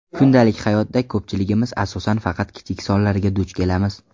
Kundalik hayotda ko‘pchiligimiz asosan faqat kichik sonlarga duch kelamiz.